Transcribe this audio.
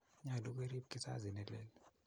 nyolu kerip kizazi nelel